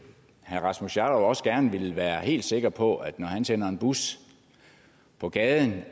herre rasmus jarlov også gerne ville være helt sikker på at når han sender en bus på gaden